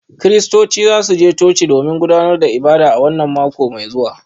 Kiristocin za su je coci domin gudanar da ibada a wannan mako mai zuwa